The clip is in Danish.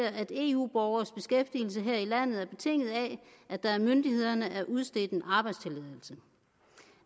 at eu borgeres beskæftigelse her i landet er betinget af at der af myndighederne er udstedt en arbejdstilladelse